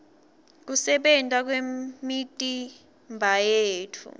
kusebenta kwemitimbayetfu